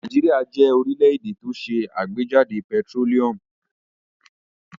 Nàìjíríà jẹ́ orílẹ̀-èdè tó ṣe àgbéjáde pẹtírólíúmù.